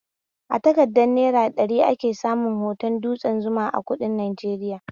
A takardar naira ɗari ake samun hoton dutsen Zuma a kuɗin Najeriya